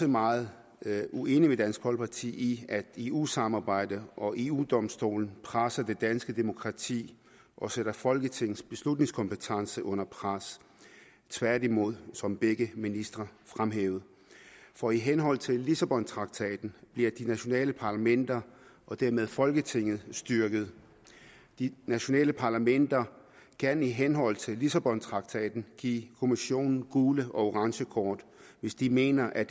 meget uenige med dansk folkeparti i at eu samarbejdet og eu domstolen presser det danske demokrati og sætter folketingets beslutningskompetence under pres tværtimod som begge ministre fremhævede for i henhold til lissabontraktaten bliver de nationale parlamenter og dermed folketinget styrket de nationale parlamenter kan i henhold til lissabontraktaten give kommissionen gule og orange kort hvis de mener at